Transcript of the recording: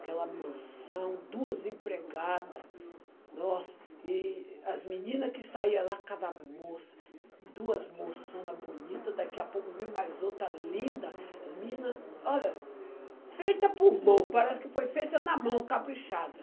aquela mansão, duas empregada, nossa, e as meninas que saía lá, cada moça, duas moçonas bonita, daqui a pouco vem mais outra linda, as menina, olha, feita por mão, parece que foi feita na mão, caprichada.